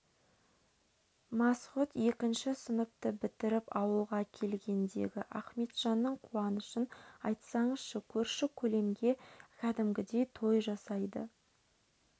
масғұт екінші сыныпты бітіріп ауылға келгендегі ахметжанның қуанышын айтсаңызшы көрші-көлемге кәдімгідей той жасайды